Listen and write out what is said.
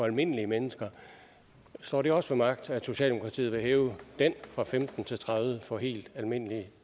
almindelige mennesker står det også ved magt at socialdemokratiet vil hæve den fra femten til tredive procent for helt almindelige